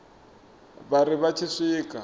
vha ri vha tshi swika